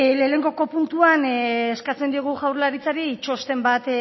lehenengo puntuan eskatzen diogu jaurlaritzari txosten bat